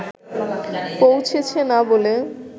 পৌঁছেছে না বলে